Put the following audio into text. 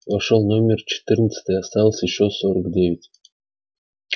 вошёл номер четырнадцатый осталось ещё сорок девять